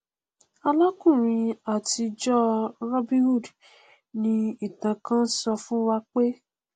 alákùnrin àtijọ robin hood ni ìtàn kán sọ fún wa pé